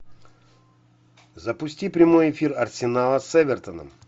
запусти прямой эфир арсенала с эвертоном